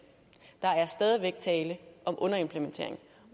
der er stadig væk tale om underimplementering